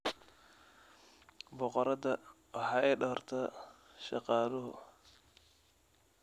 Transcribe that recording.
Boqoradda waxaa doorta shaqaaluhu.